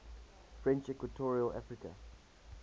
french equatorial africa